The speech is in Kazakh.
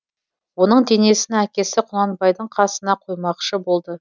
оның денесін әкесі құнанбайдың қасына қоймақшы болды